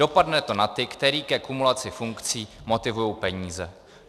Dopadne to na ty, které ke kumulaci funkcí motivují peníze.